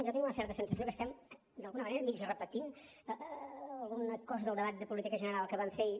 jo tinc una certa sensació que estem d’alguna manera mig repetint alguna cosa del debat de política general que vam fer ahir